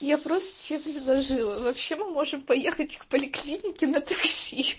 я просто тебе предложила вообще мы можем поехать к поликлинике на такси хи хи